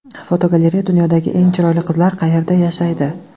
Fotogalereya: Dunyodagi eng chiroyli qizlar qayerda yashaydi?.